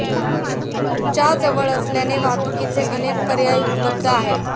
च्या जवळ असल्याने वाहतुकीचे अनेक पर्याय उपलब्ध आहेत.